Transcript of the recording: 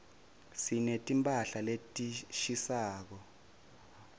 sineti mphahla letishisako